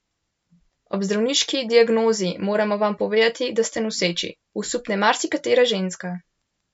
Ob zdravniški diagnozi: "Moramo vam povedati, da ste noseči," osupne marsikatera ženska.